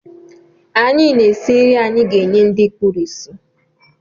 Anyị na-esi nri anyị ga-enye ndị kpuru ísì.